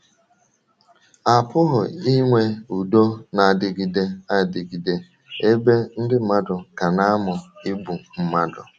A pụghị inwe udo na - adịgide adịgide ebe ndị mmadụ ka na - amụ igbu mmadụ.